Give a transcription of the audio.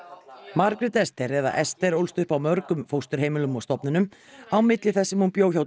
Margrét Esther eða Esther ólst upp á mörgum fósturheimilum og stofnunum á milli þess sem hún bjó hjá